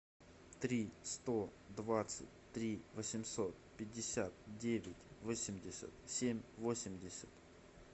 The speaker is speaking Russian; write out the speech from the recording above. три сто двадцать три восемьсот пятьдесят девять восемьдесят семь восемьдесят